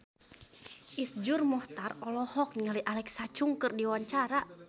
Iszur Muchtar olohok ningali Alexa Chung keur diwawancara